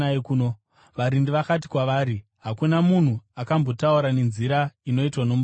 Varindi vakati kwavari, “Hakuna munhu akatombotaura nenzira inoitwa nomurume uyu.”